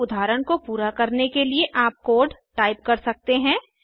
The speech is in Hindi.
इस उदाहरण को पूरा करने के लिए आप कोड टाइप कर सकते हैं